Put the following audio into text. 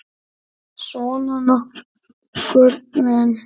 Svona nokkurn veginn.